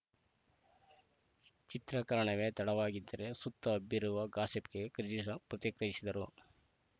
ಚಿತ್ರೀಕರಣವೇ ತಡವಾಗಿದ್ದರ ಸುತ್ತ ಹಬ್ಬಿರುವ ಗಾಸಿಪ್‌ಗೆ ಕ್ರೇಜ್ರ್ ರ್‌ ಪ್ರತಿಕ್ರಿಯಿಸಿದರು